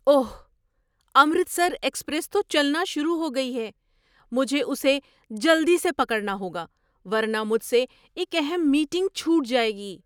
اوہ! Amritsar express تو چلنا شروع ہو گئی ہے۔ مجھے اسے جلدی سے پکڑنا ہوگا ورنہ مجھ سے ایک اہم میٹنگ چھوٹ جائے گی!